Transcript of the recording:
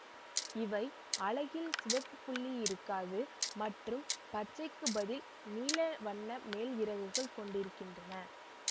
இவை அலகில் சிவப்பு புள்ளி இருக்காது மற்றும் பச்சைக்கு பதில் நீல வண்ண மேல் இறகுகள் கொண்டிருக்கின்றன